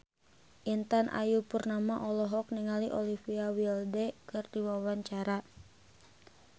Intan Ayu Purnama olohok ningali Olivia Wilde keur diwawancara